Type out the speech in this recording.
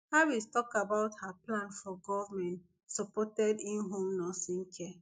harris tok about her plan for goment supported inhome nursing care